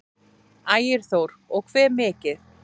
Ægir Þór: Og hve mikið?